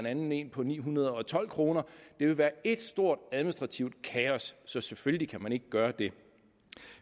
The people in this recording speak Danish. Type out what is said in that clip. anden en på ni hundrede og tolv kroner det ville være et stort administrativt kaos så selvfølgelig kan man ikke gøre det